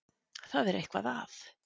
Það er eitthvað að.